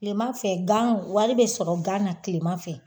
Tileman fɛ gan wari bɛ sɔrɔ gan na tileman fɛ.